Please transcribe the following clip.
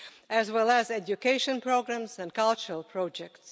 as well as educational programmes and cultural projects.